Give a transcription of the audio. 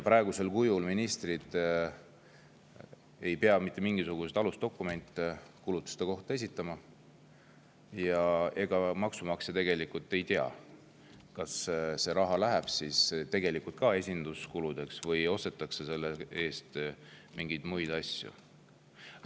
Praegu ei pea ministrid mitte mingisuguseid alusdokumente nende kulutuste kohta esitama ja maksumaksja ei tea, kas see raha läheb tegelikult ka esinduskuludeks või ostetakse selle eest mingeid muid asju.